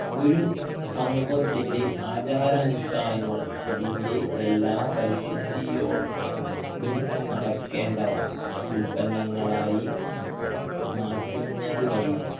ഒരു സമൂഹത്തിന്റെ ആചാരനുഷ്ഠാനങ്ങൾ അതിൻ്റെ എല്ലാ പരിശുദ്ധിയോടും നടക്കേണ്ടവ ഉൽപ്പന്നങ്ങളായി മാറ്റുന്നത് വഴി